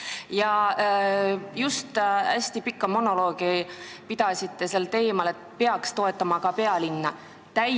Te pidasite just hästi pika monoloogi sel teemal, et peaks ka pealinna toetama.